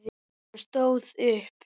Hann stóð upp.